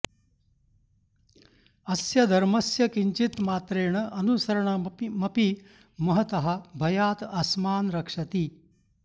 अस्य धर्मस्य किञ्चिन्मात्रेण अनुसरणमपि महतः भयात् अस्मान् रक्षति